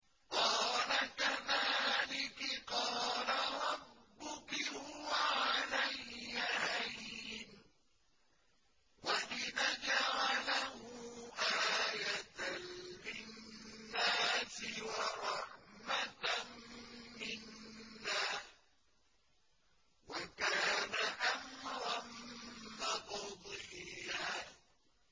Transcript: قَالَ كَذَٰلِكِ قَالَ رَبُّكِ هُوَ عَلَيَّ هَيِّنٌ ۖ وَلِنَجْعَلَهُ آيَةً لِّلنَّاسِ وَرَحْمَةً مِّنَّا ۚ وَكَانَ أَمْرًا مَّقْضِيًّا